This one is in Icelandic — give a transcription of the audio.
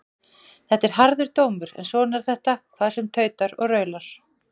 Þetta er harður dómur en svona er þetta hvað sem tautar og raular.